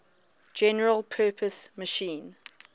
general purpose machine